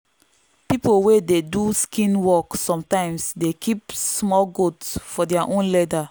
people wey dey do skin work sometimes dey keep small goat for their own leather.